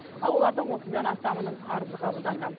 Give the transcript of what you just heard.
ал олардың отыздан астамының арызы қабылданды